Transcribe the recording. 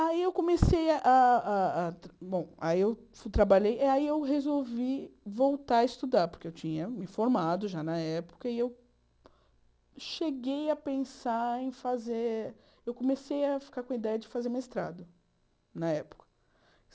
Aí eu comecei a a a a... Bom, aí eu trabalhei e aí eu resolvi voltar a estudar, porque eu tinha me formado já na época e eu cheguei a pensar em fazer... Eu comecei a ficar com a ideia de fazer mestrado na época.